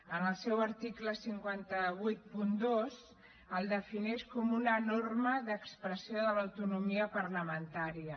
en el seu article cinc cents i vuitanta dos el defineix com una norma d’expressió de l’autonomia parlamentària